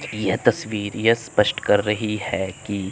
यह तस्वीर यह स्पष्ट कर रही है कि--